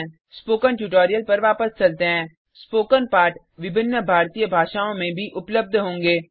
spoken tutorial पर वापस चलते हैं स्पोकन पार्ट विभिन्न भारतीय भाषाओं में भी उपलब्ध होंगें